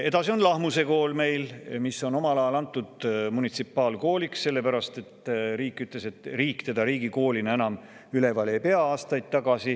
Edasi on Lahmuse Kool, mis on omal ajal antud munitsipaalkooliks, sellepärast et riik ütles aastaid tagasi, et tema seda riigikoolina enam üleval ei pea.